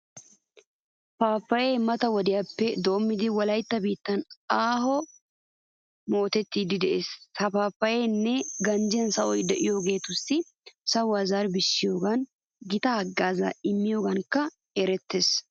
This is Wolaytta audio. Paappayyee mata wodiyappe doommidi wolaytta biittan aahuwan mutettiiddi de'ees. Ha paappayyee ganjjiya sahoy de'iyogeetussi sahuwa zarbbissiyogan gita haggaazaa immiyogankka erettees.